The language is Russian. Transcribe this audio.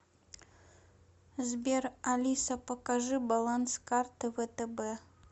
сбер алиса покажи баланс карты втб